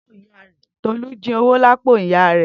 Tolu is stealing from the mother's pocket.